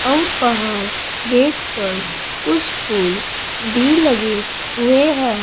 आउर बाहर गेट पर कुछ फूल भी लगे हुए है।